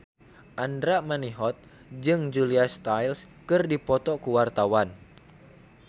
Andra Manihot jeung Julia Stiles keur dipoto ku wartawan